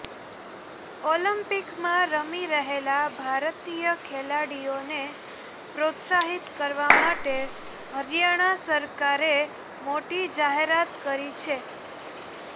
ઓલિમ્પિકમાં રમી રહેલા ભારતીય ખેલાડીઓને પ્રોત્સાહિત કરવા માટે હરિયાણા સરકારે મોટી જાહેરાત કરી છે